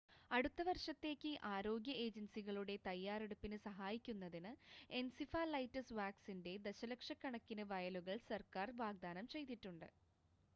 അടുത്ത വർഷത്തേക്ക് ആരോഗ്യ ഏജൻസികളുടെ തയ്യാറെടുപ്പിന് സഹായിക്കുന്നതിന് എൻസിഫലൈറ്റിസ് വാക്സിൻ്റെ ദശലക്ഷക്കണക്കിന് വയലുകൾ സർക്കാർ വാഗ്ദാനം ചെയ്തിട്ടുണ്ട്